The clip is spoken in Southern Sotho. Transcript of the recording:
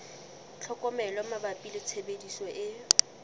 tlhokomelo mabapi le tshebediso e